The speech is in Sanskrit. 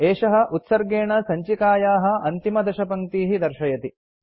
एषः उत्सर्गेण सञ्चिकायाः अन्तिमदशपङ्क्तीः दर्शयति